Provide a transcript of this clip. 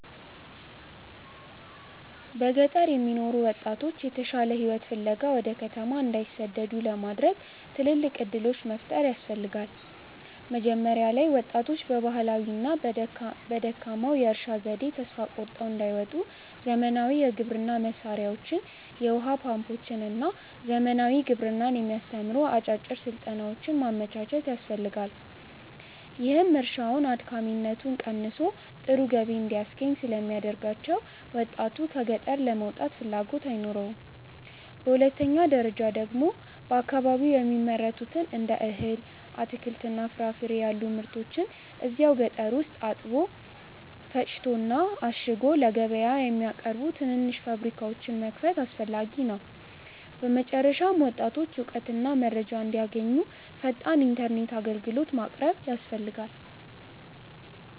በገጠር የሚኖሩ ወጣቶች የተሻለ ሕይወት ፍለጋ ወደ ከተማ እንዳይሰደዱ ለማድረግ ትልልቅ ዕድሎች መፍጠር ያስፈልጋ። መጀመሪያ ላይ ወጣቶች በባህላዊውና በደካማው የእርሻ ዘዴ ተስፋ ቆርጠው እንዳይወጡ ዘመናዊ የግብርና መሣሪያዎችን፣ የውኃ ፓምፖችንና ዘመናዊ ግብርናን የሚያስተምሩ አጫጭር ሥልጠናዎችን ማመቻቸት ያስፈልጋል፤ ይህም እርሻውን አድካሚነቱ ቀንሶ ጥሩ ገቢ እንዲያስገኝ ስለሚያደርጋቸው ወጣቱ ከገጠር ለመውጣት ፍላጎት አይኖረውም። በሁለተኛ ደረጃ ደግሞ በየአካባቢው የሚመረቱትን እንደ እህል፣ አትክልትና ፍራፍሬ ያሉ ምርቶችን እዛው ገጠር ውስጥ አጥቦ፣ ፈጭቶና አሽጎ ለገበያ የሚያቀርቡ ትናንሽ ፋብሪካዎችን መክፈት አስፈላጊ ነው። በመጨረሻም ወጣቶች እውቀትና መረጃ እንዲያገኙ ፈጣን ኢተርኔት አግልግሎት ማቅረብ ያስፈልጋል